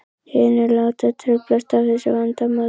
Hinir láta truflast af þessu vandamáli.